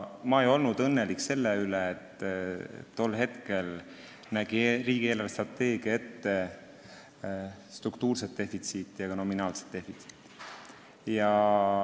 Ma ei olnud õnnelik selle üle, et tol hetkel nägi riigi eelarvestrateegia ette struktuurset ja ka nominaalset defitsiiti.